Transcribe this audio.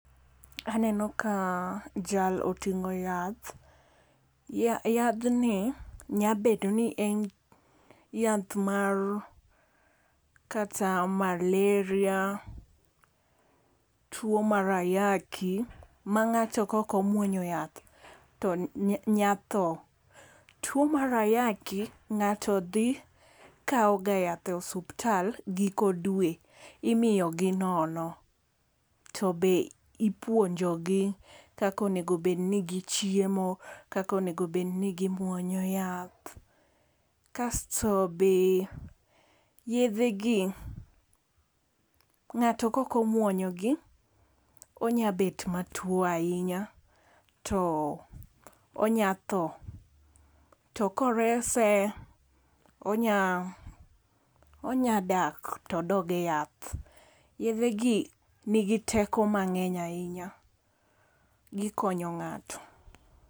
Aneno ka jal oting'o yath. Yadh ni nyabedo ni en yath mar kata malaria, tuo mar ayaki ma ngato kok omuonyo yath to nya tho. Tuo mar ayaki ng'ato dhi kaw ga yath osuptal giko dwe. Imiyo gi nono. To be ipuonjo gi kaka onego bed ni gichiemo. Kaka onego bed ni gimuonyo yath. Kasto be yedhe gi ng'ato kok omuonyo gi onyabet matuo ahinya to onya tho. To korese onya onya dak todog e yath. Yedhe gi nigi teko mang'eny ahinya. Gikonyo ng'ato.